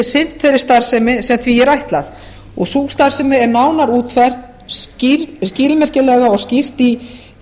sinnt þeirri starfsemi sem því er ætlað sú starfsemi er nánar útfærð skilmerkilega og skýrt í